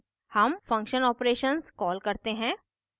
हम function operations call करते हैं